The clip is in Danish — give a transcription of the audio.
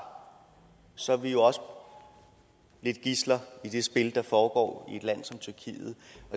så er vi jo også lidt gidsler i det spil der foregår